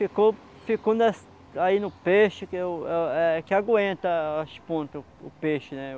Aí ficou ficou nas aí no peixe que o eh eh que aguenta as pontas, o o peixe, né?